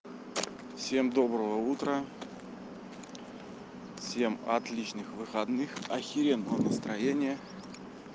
всем доброго утра всем отличных выходных ахеренного настроения